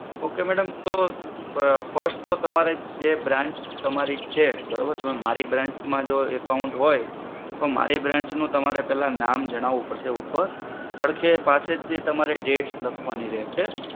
okay madam, તો અમ first તો તમારે જે branch તમારી છે બરોબર? તમે મારી branch માં જે account હોય તો મારી branch નું તમારે પેલા નામ જણાવું પડશે ઉપર. પડખે પાસે જે તમારે dates લખવાની રહેશે.